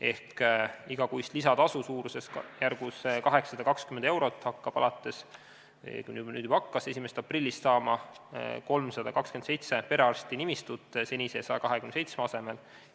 Ehk igakuist lisatasu suurusjärgus 820 eurot hakkab – õigemini nüüd juba hakkas – 1. aprillist saama 327 perearstinimistut senise 127 asemel.